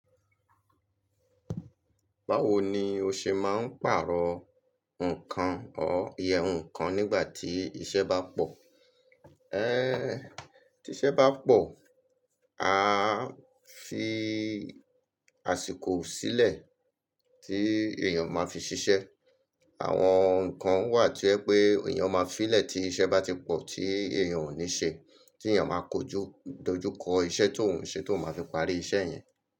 Báwo ni o ṣe máa ń pàrọ̀ nǹkan or iyẹ́ nǹkan nígbà tí iṣẹ́ bá pọ̀? Ẹ́, tí iṣẹ́ bá pọ̀, a fi àsìkò sílẹ̀ tí èèyàn máa fi ṣiṣẹ́. Àwọn nǹkan wà to yẹ pé èèyàn máa fí lẹ̀ tí iṣẹ́ bá ti pọ̀ tí èèyàn ò ní ṣe, tí èèyàn máa kojo, dojúkọ iṣẹ́ to òun ṣe tó oun máa fi parí iṣẹ́ yẹn.